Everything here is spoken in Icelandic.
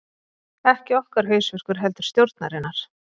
Ekki okkar hausverkur heldur stjórnarinnar